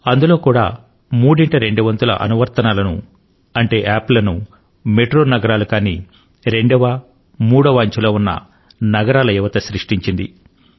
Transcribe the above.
అందులో కూడా మూడింట రెండు వంతుల అనువర్తనాలను మెట్రో నగరాలు కానటువంటి రెండో అంచె నగరాలు మూడో అంచె నగరాల యువతయే సృష్టించింది